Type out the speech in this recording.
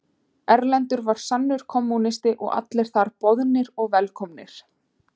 Erlendur var sannur kommúnisti og allir þar boðnir og velkomnir.